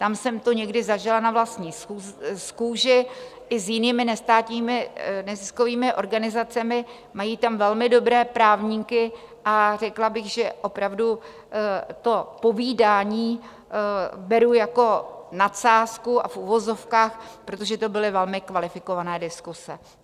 Tam jsem to někdy zažila na vlastní kůži, i s jinými nestátními neziskovými organizacemi, mají tam velmi dobré právníky a řekla bych, že opravdu to povídání beru jako nadsázku a v uvozovkách, protože to byly velmi kvalifikované diskuse.